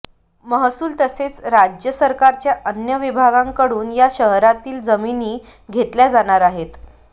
महसूल तसेच राज्य सरकारच्या अन्य विभागांकडून या शहरातील जमिनी घेतल्या जाणार आहेत